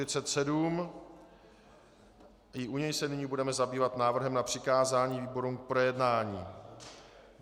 I u něj se nyní budeme zabývat návrhem na přikázání výborům k projednání.